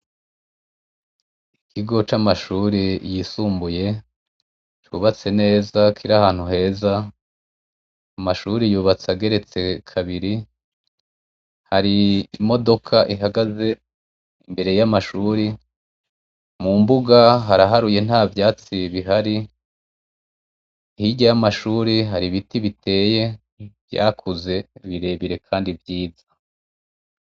Ikigo c'amashuri yisumbuye cubatse neza kiri ahantu heza amashuri yubatse ageretse kabiri hari imodoka ihagaze imbere y'amashuri mu mbuga haraharuye nta vyatsi bihari hiryay amashuri hari ibiti biteye vyakuze birebire, kandi vyiza.